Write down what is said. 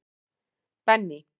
Benný